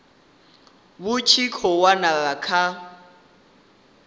vhu tshi khou wela kha